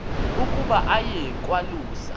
ukuba aye kwalusa